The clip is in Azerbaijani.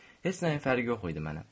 Heç nəyin fərqi yox idi mənə.